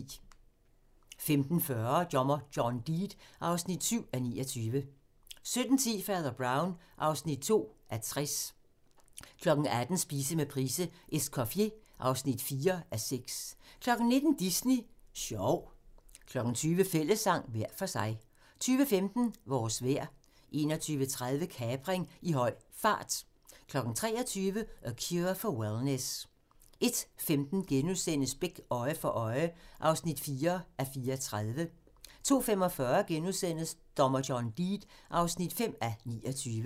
15:40: Dommer John Deed (7:29) 17:10: Fader Brown (2:60) 18:00: Spise med Price: "Escoffier" (4:6) 19:00: Disney Sjov 20:00: Fællessang - hver for sig 21:15: Vores vejr 21:30: Kapring i høj fart 23:00: A Cure for Wellness 01:15: Beck: Øje for øje (4:34)* 02:45: Dommer John Deed (5:29)*